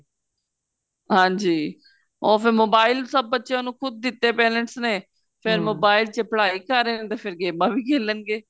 ਹਾਂਜੀ ਉਹ ਫੇਰ mobile ਸਭ ਬੱਚਿਆਂ ਨੂੰ ਖੁਦ ਦਿੱਤੇ parents ਨੇ ਫੇਰ ਚ ਪੜ੍ਹਾਈ ਕਰ ਰਹੇ ਨੇ ਤੇ ਫੇਰ ਗੇਮਾ ਵੀ ਖੇਲਣ ਗੇ